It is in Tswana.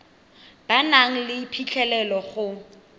ba nang le phitlhelelo go